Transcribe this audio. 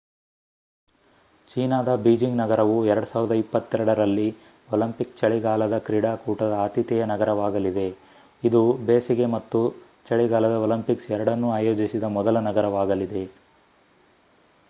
ಚೀನಾದ ಬೀಜಿಂಗ್ ನಗರವು 2022 ರಲ್ಲಿ ಒಲಿಂಪಿಕ್ ಚಳಿಗಾಲದ ಕ್ರೀಡಾಕೂಟದ ಆತಿಥೇಯ ನಗರವಾಗಲಿದೆ ಇದು ಬೇಸಿಗೆ ಮತ್ತು ಚಳಿಗಾಲದ ಒಲಿಂಪಿಕ್ಸ್ ಎರಡನ್ನೂ ಆಯೋಜಿಸಿದ ಮೊದಲ ನಗರವಾಗಲಿದೆ